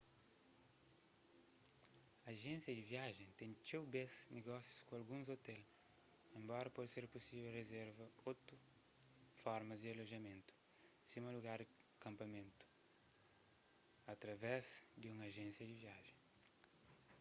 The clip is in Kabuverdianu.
ajénsia di viajen ten txeu bês nogósius ku alguns ôtel enbora pode ser pusível rizerva otu formas di alojamentu sima lugar pa kanpamentu através di un ajénsia di viajen